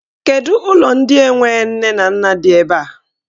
Kedụ ụlọ ndị enwe nne na nna di ebe a?